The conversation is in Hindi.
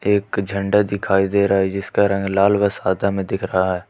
एक झंडा दिखाई दे रहा है जिसका रंग लाल व सादा में दिख रहा है।